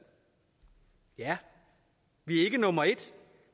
ja vi er ikke nummer en